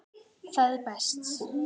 Það er best.